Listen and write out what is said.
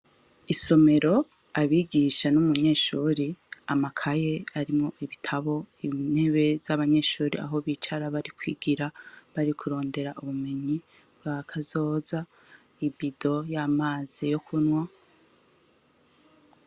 Isomero, abigisha n'umunyeshure, amakaye arimwo ibitabo, intebe z'abanyeshure aho bicara barikwigira, bari kurondera ubumenyi bwakazoza, ibido y'amazi yokunwa.